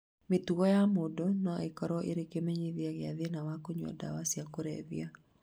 Mĩtugo ya mũndũ no ĩkorũo ĩrĩ kĩmenyithia gĩa thĩna wa kũnyua ndawa cia kũrebia.